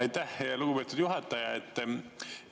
Aitäh, lugupeetud juhataja!